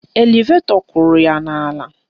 Elevetọ kụrụ ya n'ala.